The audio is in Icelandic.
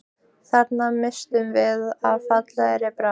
Þarna misstum við af fallegri bráð